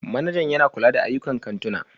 Manajan yana kula da ayyukan kantuna